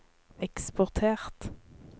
eksportert